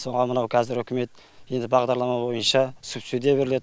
соған мынау қазір үкімет енді бағдарлама бойынша субсидия беріледі